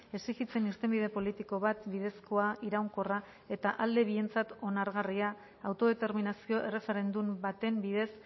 exijitzen irtenbide politiko bat bidezkoa iraunkorra eta alde bientzat onargarria autodeterminazio erreferendum baten bidez